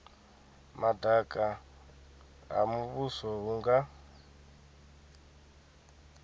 madaka ha muvhuso hu nga